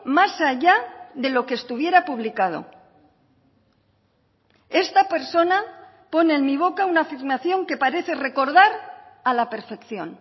más allá de lo que estuviera publicado esta persona pone en mi boca una afirmación que parece recordar a la perfección